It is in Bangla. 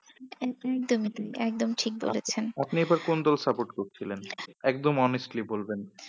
উম উম তুমি তুমি ঠিক বলেছেন। আপনি আবার কোন দল support করছিলেন একদম honestly বলবেন।